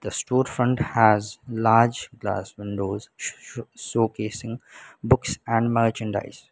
store front has large glass windows s-s-showcasing books and merchandise.